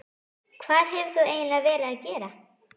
Hvað hefur þú eiginlega verið að gera?